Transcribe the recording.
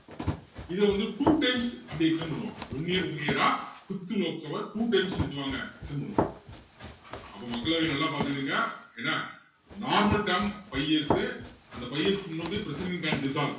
இத வந்து two times அப்படி extend பண்ணுவாங்க one year one year ஆ fifth Lok Sabha two times என்ன பண்ணுவாங்க extend பண்ணுவாங்க அப்போ மக்களவையை நல்லா பாத்துக்குடுங்க என்ன normal term five years உ அந்த five years க்கு முன்னாடியே president can dissolved